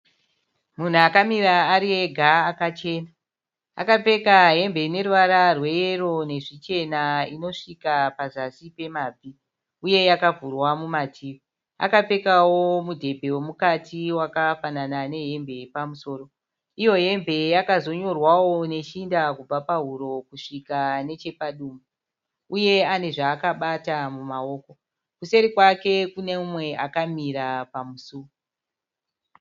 Munhu akamira ari ega akachena. Akapfeka hembe ine ruvara rweyero nezvichena inosvika pazasi pemabvi uye yakavhurwa mumativi. Akapfekawo mudhebhe wemukati wakafanana nehembe yepamusoro. Iyo hembe yakazonyorwawo neshinda kubva pahuro kusvika nechepadumbu. Uye ane zvaakabata mumaoko. Kuseri kwake kune mumwe akamira pamusuo.